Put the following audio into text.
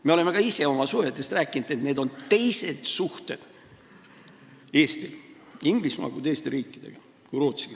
Me oleme ka ise oma suhetest rääkinud, et Eestil on Inglismaaga teistsugused suhted kui teiste riikidega, ka kui Rootsiga.